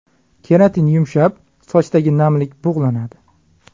Keratin yumshab, sochdagi namlik bug‘lanadi.